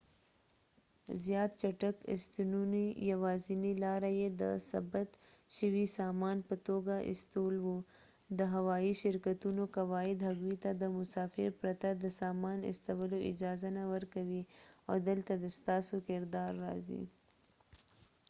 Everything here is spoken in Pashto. زیات چټک استنونې یواځینۍ لاره يې د ثبت شوي سامان په توګه استول وو د هوايي شرکتونو قواعد هغوی ته د مسافر پرته د سامان استولو اجازه نه ورکوي او دلته د ستاسو کردار راځي